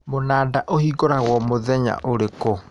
Mũnanda ũhingũragwo mũthenya ũrĩkũ